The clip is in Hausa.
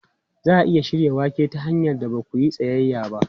Za a iya shirya wake ta hanyar da ba za ku iya tsayayya ba.